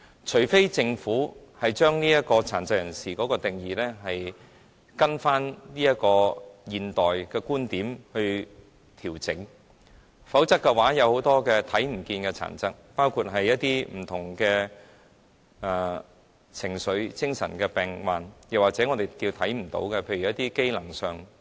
除非政府將殘疾人士的定義根據現代的觀點作出調整，否則，很多看不見的殘疾，包括不同的情緒、精神上的病患，或是我們看不見的在機能上的殘疾，也不能得到照顧。